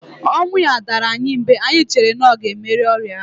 Ọnwụ ya dara anyị mberede, anyị chere na ọ ga emeri ọrịa ahu